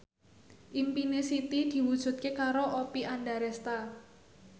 impine Siti diwujudke karo Oppie Andaresta